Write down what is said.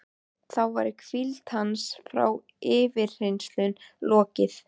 Þá væri hvíld hans frá yfirheyrslunum lokið.